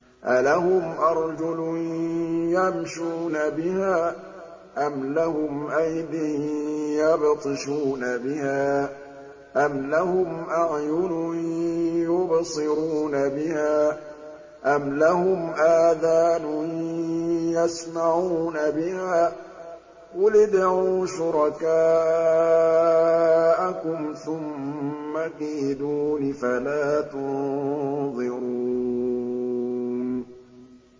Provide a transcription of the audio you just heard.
أَلَهُمْ أَرْجُلٌ يَمْشُونَ بِهَا ۖ أَمْ لَهُمْ أَيْدٍ يَبْطِشُونَ بِهَا ۖ أَمْ لَهُمْ أَعْيُنٌ يُبْصِرُونَ بِهَا ۖ أَمْ لَهُمْ آذَانٌ يَسْمَعُونَ بِهَا ۗ قُلِ ادْعُوا شُرَكَاءَكُمْ ثُمَّ كِيدُونِ فَلَا تُنظِرُونِ